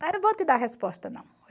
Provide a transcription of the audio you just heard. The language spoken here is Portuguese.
eu vou te dar a resposta não.